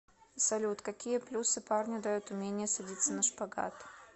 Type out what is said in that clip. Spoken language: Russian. салют какие плюсы парню дает умение садиться на шпагат